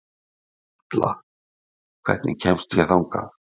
Atla, hvernig kemst ég þangað?